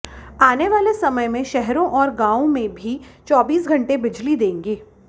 आने वाले समय में शहरों और गांवों में भी चौबीस घंटे बिजली देंगे